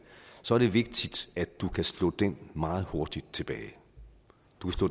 så er det vigtigt at du kan slå den meget hurtigt tilbage